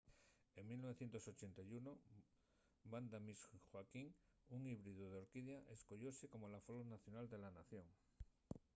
en 1981 vanda miss joaquim un híbridu d’orquídea escoyóse como la flor nacional de la nación